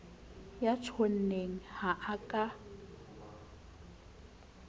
ya tjhonneng ha a ka